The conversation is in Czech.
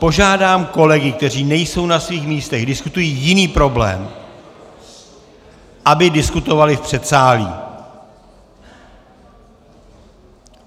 Požádám kolegy, kteří nejsou na svých místech, diskutují jiný problém , aby diskutovali v předsálí.